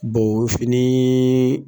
O fini